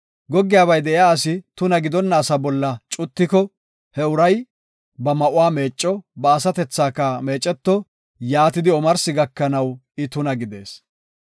“Goggiyabay de7iya asi tuna gidonna asa bolla cutiko, he uray ba ma7uwa meecco; ba asatethaka meeceto; yaatidi omarsi gakanaw I tuna gidees.